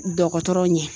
Dɔgɔtɔrɔ ɲɛ